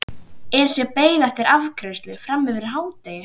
Esja beið afgreiðslu fram yfir hádegi.